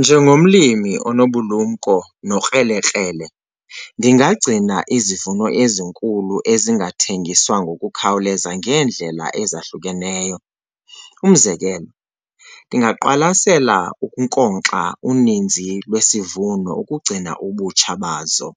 Njengomlimi onobulumko nokrelekrele ndingagcina izivuno ezinkulu ezingathengiswa ngokukhawuleza ngeendlela ezahlukeneyo. Umzekelo, ndingaqwalasela ukunkonkxa uninzi lwesivuno ukugcina obutsha bazo.